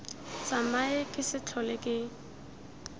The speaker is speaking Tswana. tsamae ke se tlhole ke